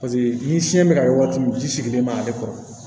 Paseke ni fiɲɛ bɛ ka ye waati min ji sigilen b'ale kɔrɔ